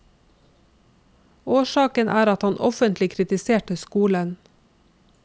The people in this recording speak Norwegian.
Årsaken er at han offentlig kritiserte skolen.